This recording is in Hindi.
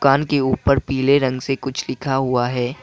कान के ऊपर पीले रंग से कुछ लिखा हुआ है।